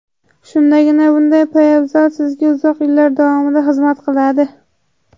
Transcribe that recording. Shundagina bunday poyabzal sizga uzoq yillar davomida xizmat qiladi.